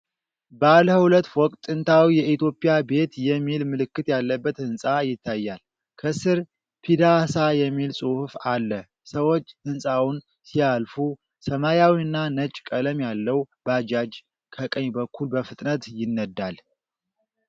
ባለ ሁለት ፎቅ ጥንታዊ የእትዮጵያ ቤት የሚል ምልክት ያለበት ህንፃ ይታያል። ከስር “ፒዳሳ” የሚል ጽሑፍ አለ። ሰዎች ህንፃውን ሲያልፉ፣ ሰማያዊና ነጭ ቀለም ያለው ባጃጅ ከቀኝ በኩል በፍጥነት ይነዳል።